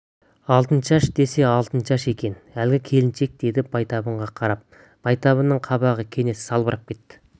алтыншаш десе алтыншаш екен әлгі келіншек деді байтабынға қарап байтабынның қабағы кенет салбырап кетті